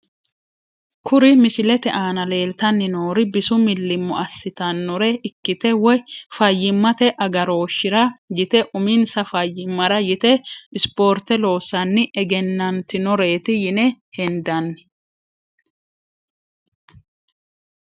Kuri misilete aana leeltani noori bisu milimo asitanore ikite woyi fayimmate agarooshira yite uminsa fayimara yite sporte loosani egenanitinoreeti yine hendani.